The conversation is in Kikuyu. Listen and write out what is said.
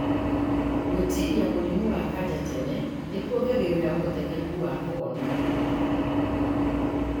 Gũtwĩria mũrimũ wa kanja tene nĩhuongagĩrĩra ũhotekeku wa kũhona.